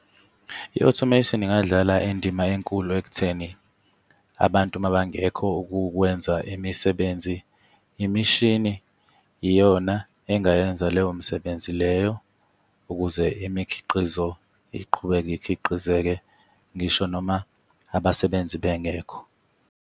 I-automation ingadlala indima enkulu ekutheni abantu uma bangekho ukukwenza imisebenzi, imishini iyona engayenza leyo misebenzi leyo ukuze imikhiqizo iqhubeke ikhiqize-ke ngisho noma abasebenzi bengekho.